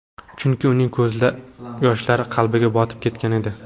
Chunki uning ko‘z yoshlari qalbiga botib ketgan edi.